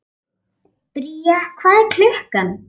Bría, hvað er klukkan?